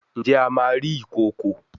Njé a má rí Ìkokò?